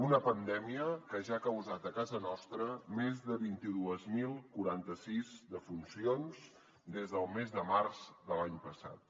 una pandèmia que ja ha causat a casa nostra més de vint dos mil quaranta sis defuncions des del mes de març de l’any passat